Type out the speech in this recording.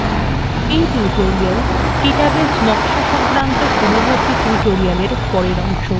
এই tutorial database নকশা সংক্রান্ত পূর্ববর্তী tutorialএর পরের অংশ